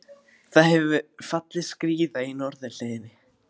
Það hefur fallið skriða í norðurhlíðinni